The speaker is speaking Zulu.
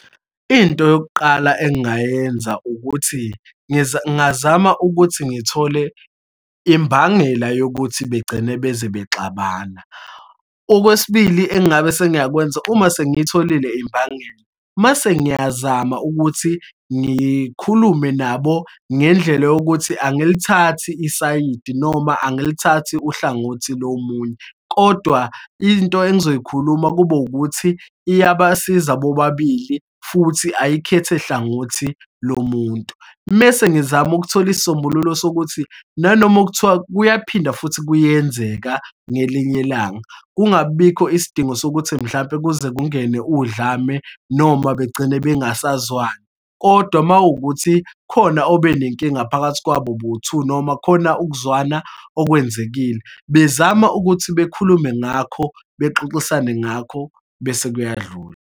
Into yokuqala engingayenza, ukuthi ngingazama ukuthi ngithole imbangela yokuthi begcine beze bexabana. Okwesibili engabe sengiyakwenza, uma sengiyitholile imbangela, mase ngiyazama ukuthi ngikhulume nabo ngendlela yokuthi angilithathi isayidi noma angilithathi uhlangothi lomunye, kodwa into engizoyikhuluma kube ukuthi iyabasiza bobabili futhi ayikhethe hlangothi lomuntu. Mese ngizama ukuthola isisombululo sokuthi nanoma kuthiwa kuyaphinda futhi kuyenzeka ngelinye ilanga, kungabibikho isidingo sokuthi mhlampe, kuze kungene udlame noma begcine bengasazwani. Kodwa uma wukuthi khona obenenkinga phakathi kwabo bowu-two noma khona ukuzwana okwenzekile, bezama ukuthi bekhulume ngakho, bexoxisane ngakho, bese kuyadlula.